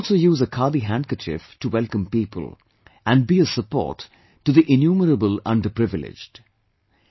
One can also use a 'Khadi' handkerchief to welcome people, and be a support to the innumerable underprivileged